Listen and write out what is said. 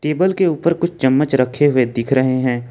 Table के ऊपर कुछ चम्मच रखे हुए दिख रहे हैं।